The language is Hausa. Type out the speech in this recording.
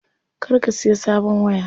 Kar ka siya sabon waya.